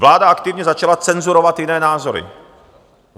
Vláda aktivně začala cenzurovat jiné názory.